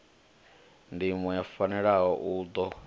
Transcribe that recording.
ndimo o fanelaho u ḓo